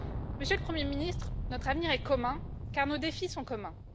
Monsieur le Premier ministre, notre avenir est commun car nos défis sont communs.